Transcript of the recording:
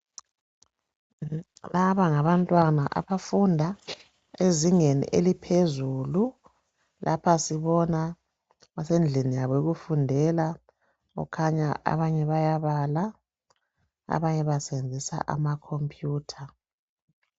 laba ngabantwana abafunda ezingeni eliphezulu lapha sibona basendlini yabo yokufundela okukhanya abanye bayabala abanye basebenzisa ama computer